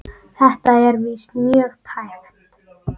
Þetta var víst mjög tæpt.